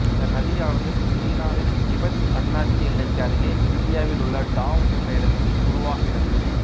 இந்த நதியானது சீனாவின் திபெத் தன்னாட்சி எல்லைக்கு அருகே இந்தியாவில் உள்ள டாவ் என்ற இடத்தில் உருவாகிறது